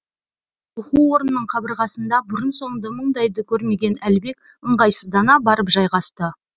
оқу орнының қабырғасында бұрын соңды мұндайды көрмеген әлібек ыңғайсыздана барып жайғасты